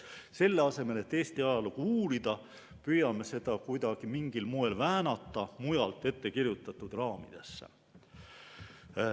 Selle asemel, et Eesti ajalugu uurida, püüame seda kuidagi mingil moel väänata mujalt ettekirjutatud raamidesse.